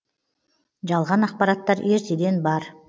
жалған ақпараттар ертеден бар